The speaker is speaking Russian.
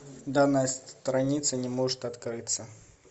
данная страница не может открыться